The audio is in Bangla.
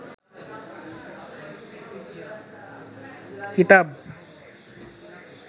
কিতাব